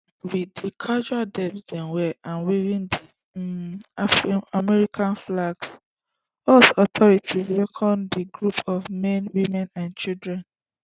wit di casual dress dem wear and waving di um american flags us authorities welcome di group of men women and children